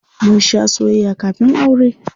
Mun shaa soyayya kafin aure.